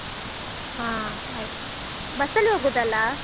ಹ ಆಯ್ತು.